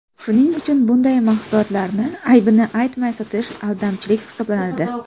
Shuning uchun bunday mahsulotlarni aybini aytmay sotish aldamchilik hisoblanadi.